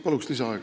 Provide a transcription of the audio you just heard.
Palun lisaaega!